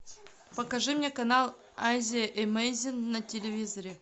покажи мне канал азия эмейзин на телевизоре